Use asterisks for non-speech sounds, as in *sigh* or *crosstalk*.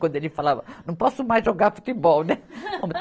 Quando ele falava, não posso mais jogar futebol, né? *laughs*